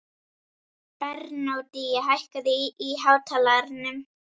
Bernódía, hækkaðu í hátalaranum.